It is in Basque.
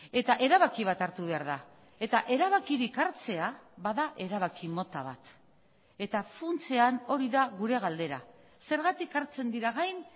eta erabaki bat hartu behar da eta erabakirik hartzea ba da erabaki mota bat eta funtsean hori da gure galdera zergatik hartzen dira gain